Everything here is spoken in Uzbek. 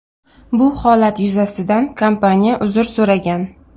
Bu holat yuzasidan kompaniya uzr so‘ragan.